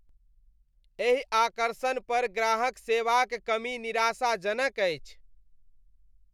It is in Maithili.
एहि आकर्षण पर ग्राहक सेवाक कमी निराशाजनक अछि।